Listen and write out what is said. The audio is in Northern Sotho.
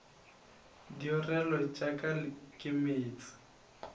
diorelo tša ka ke meetse